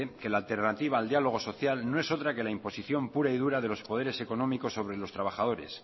que la alternativa al diálogo social no es otra que la imposición pura y dura de los poderes económicos sobre los trabajadores